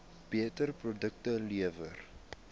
beter produkte lewer